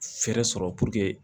Fɛɛrɛ sɔrɔ